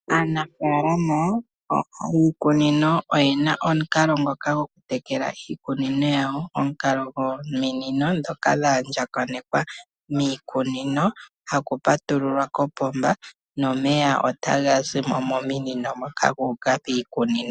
Aanafalama mboka yiikunino oye na omukalo ngoka gokutekela iikunino yawo. Omukalo gwominino ndhoka dhaandjakanekwa miikunino ha kupatululwa kopomba nomeya otaga zimo mominino gu uka piimeno.